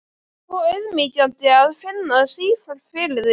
Svo auðmýkjandi að finna sífellt fyrir því.